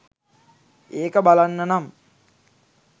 ඒක බලන්නනම්.